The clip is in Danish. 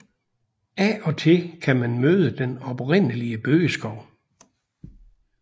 Af og til kan man møde den oprindelige bøgeskov